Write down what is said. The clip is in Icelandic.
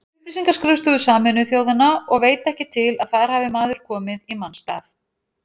Upplýsingaskrifstofu Sameinuðu þjóðanna og veit ekki til að þar hafi maður komið í manns stað.